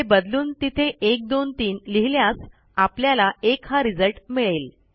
हे बदलून तिथे 123 लिहिल्यास आपल्याला 1 हा रिझल्ट मिळेल